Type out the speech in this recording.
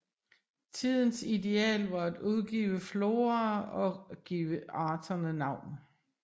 Tidens ideal var at udgive floraer og give arterne navn